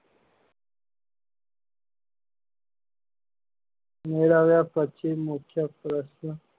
મેળવ્યા પછી મુખ્ય શોધ ખોળ